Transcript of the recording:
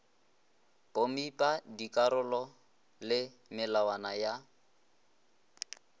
pomipa dikarolo le melawana ya